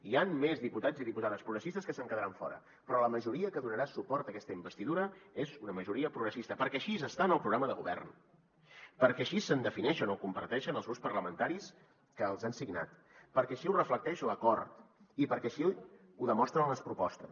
hi han més diputats i diputades progressistes que se’n quedaran fora però la majoria que donarà suport a aquesta investidura és una majoria progressista perquè així està en el programa de govern perquè així es defineixen o ho comparteixen els grups parlamentaris que els han signat perquè així ho reflecteix l’acord i perquè així ho demostren les propostes